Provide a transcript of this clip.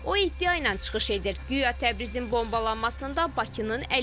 O iddia ilə çıxış edir, guya Təbrizin bombalanmasında Bakının əli var.